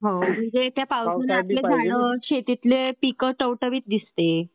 आणि हे काय पावसाने आपली झाडं शेतीतले पिकं टवटवीत दिसते.